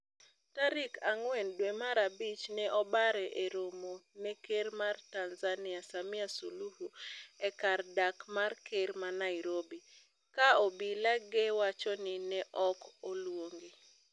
Tarik ang'wen dwe mar abich ne obare eromo ne ker mar Tanzania Samia Suluhu e kar dak mar ker ma Nairobi. Ka obila ge wacho ni neoko luonge.